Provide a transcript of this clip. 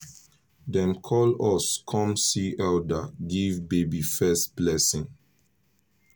dem call us con see elder give baby first blessing